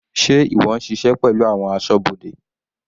Sé ìwọ ń ṣiṣẹ́ pẹ̀lú àwọn asọ́bodè?